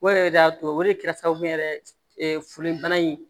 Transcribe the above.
O yɛrɛ de y'a to o de kɛra sababu ye foli bana in